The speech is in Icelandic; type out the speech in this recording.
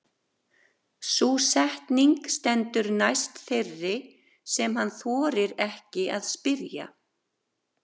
Sú setning stendur næst þeirri sem hann þorir ekki að spyrja.